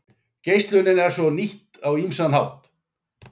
Geislunin er svo nýtt á ýmsan hátt.